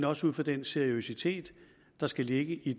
også ud fra den seriøsitet der skal ligge i